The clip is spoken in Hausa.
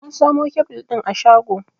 Na samo kebil ɗin a shago.